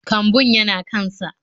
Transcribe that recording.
Kambun yana kan sa